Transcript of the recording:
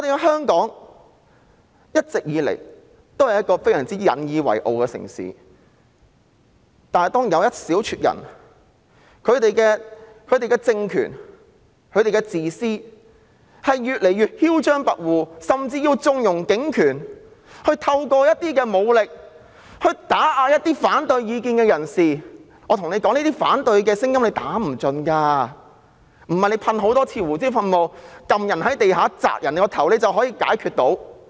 香港一直都是我們相當引以為傲的城市，但當有一小撮人、他們的政權越來越自私和囂張跋扈，甚至縱容濫用警權，利用武力打壓持反對意見的人士時，我想告訴大家，反對的聲音是打不盡的，不是多次噴射胡椒噴霧、把人按到地上壓住頭部便解決得到。